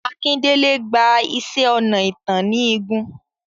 Akindele gba iṣẹ́ ọnà ìtàn ní igun.